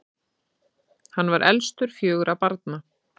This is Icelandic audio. hann var elstur fjögurra barna